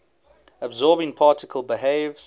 absorbing particle behaves